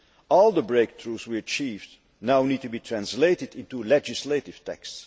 All the breakthroughs we achieved now need to be translated into legislative texts.